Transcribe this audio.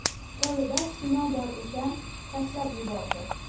Qo‘lida kino bor ekan, tashlab yubordi.